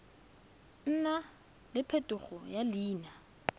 nna le phetogo ya leina